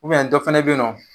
dɔ fana be yen nɔn